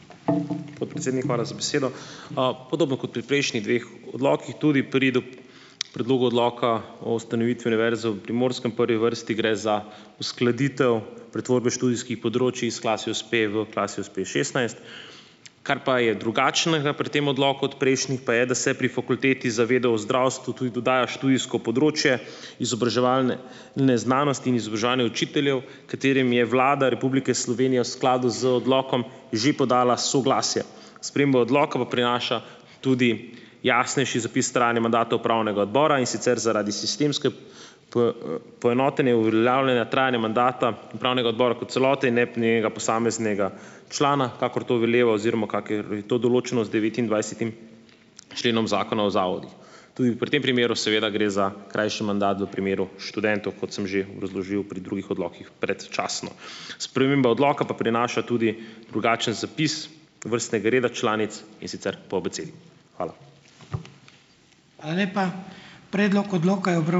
Podpredsednik, hvala za besedo. Podobno kot pri prejšnjih dveh odlokih, tudi pri predlogu odloka o ustanovitvi Univerze v Primorskem prvi vrsti gre za uskladitev pretvorbe študijskih področij s Klasius-P v Klasius-P šestnajst. Kar pa je drugačnega pri tem odloku od pa je, da se pri Fakulteti za vede o zdravstvu tudi dodaja študijsko področje izobraževalne znanosti in izobraževanje učiteljev, katerim je Vlada Republike Slovenije v skladu z odlokom že podala soglasje. Sprememba odloka pa prinaša tudi jasnejši zapis trajanja mandata upravnega odbora, in sicer zaradi sistemske poenotenje uveljavljanja trajanja mandata upravnega odbora kot celote in ne posameznega člana, kakor to veleva oziroma kakor je to določeno z devetindvajsetim členom Zakona o zavodih. Tudi pri tem primeru seveda gre za krajši mandat, v primeru študentov, kot sem že razložil pri drugih odlokih, predčasno. Sprememba odloka pa prinaša tudi drugačen zapis vrstnega reda članic, in sicer po abecedi. Hvala.